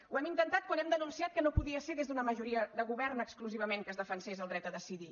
ho hem intentat quan hem denunciat que no podia ser des d’una majoria de govern exclusivament que es defensés el dret a decidir